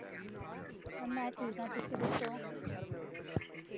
ਮੈਂ ਠੀਕ ਆ ਤੁਸੀਂ ਦੱਸੋ